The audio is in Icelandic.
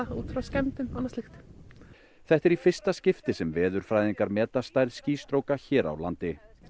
úr frá skemmdum þetta er í fyrsta skipti sem veðurfræðingar meta stærð hér á landi